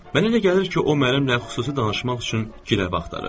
Mənə elə gəlir ki, o mənimlə xüsusi danışmaq üçün girəv axtarır.